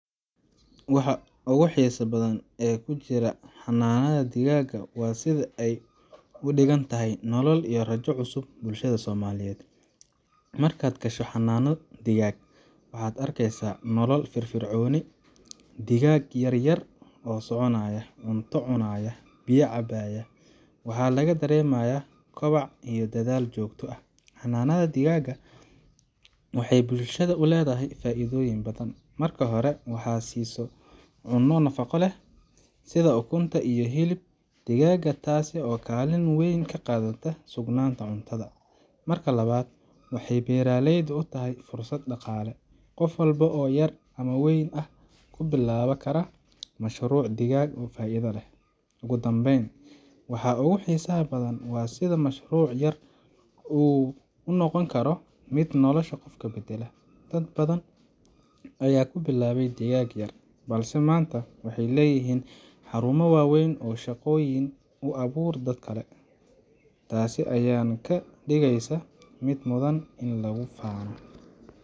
Waxa ugu xiisaha badan ee ku jira xanaanada digaagga waa sida ay uga dhigan tahay nolol iyo rajo cusub bulshada Soomaaliyeed. Markaad gasho xanaano digaag, waxaad arkeysaa nolol firfircoon digaag yar yar oo soconaya, cunto cunaya, biyana cabaya. Waxaa laga dareemayaa kobac iyo dadaal joogto ah. Xanaanada digaagga waxay bulshada u leedahay faa’iidooyin badan. Marka hore, waxay siisaa cunno nafaqo leh sida ukunta iyo hilib digaagga, taas oo kaalin weyn ka qaadata sugnaanta cuntada. Marka labaad, waxay beeraleyda u tahay fursad dhaqaale qof walba oo yar ama weyn ah wuu bilaabi karaa mashruuc digaag oo faa’iido leh. Ugu dambeyn, waxa ugu xiisaha badan waa sida mashruuc yar uu u noqon karo mid nolosha qofka beddela. Dad badan ayaa ku bilaabay digaag yar, balse maanta waxay leeyihiin xarumo waaweyn oo shaqooyin u abuura dad kale. Taas ayaana ka dhigeysa mid mudan in lagu faano.